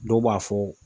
Dɔw b'a fɔ